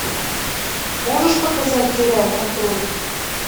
можешь показать теряя контроль